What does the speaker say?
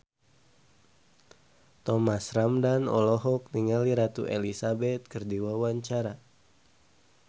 Thomas Ramdhan olohok ningali Ratu Elizabeth keur diwawancara